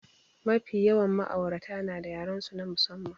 Mafi yawan ma'aurata nada yarensu na musamman.